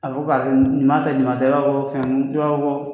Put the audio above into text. A fɔ k'a ɲuman tɛ ɲuman tɛ i b'a fɔ ko fɛn , i b'a fɔ ko